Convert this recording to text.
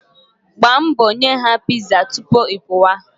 Gbaa mbọ nye ha piza tupu ị pụwa.